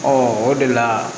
o de la